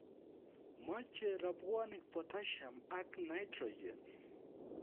Machei rabwonik potassium ak nitrogen